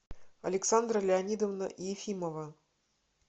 александра леонидовна ефимова